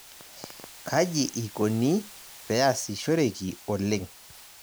Kaji ikoni peasishoreki oleng'.